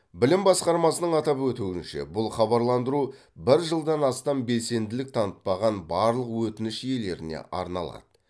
білім басқармасының атап өтуінше бұл хабарландыру бір жылдан астам белсенділік танытпаған барлық өтініш иелеріне арналады